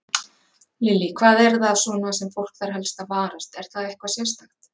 Lillý: Hvað er það svona sem fólk þarf helst að varast, er það eitthvað sérstakt?